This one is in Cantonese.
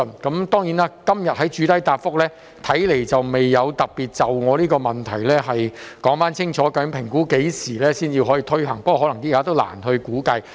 局長今天的主體答覆，看來未有特別針對我的質詢，說清楚究竟當局估計何時才可推行計劃，不過，現時可能亦難以評估。